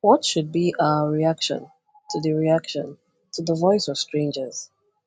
What should be our reaction to the reaction to the voice of strangers?